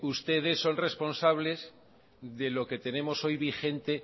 ustedes son responsables de lo que tenemos hoy vigente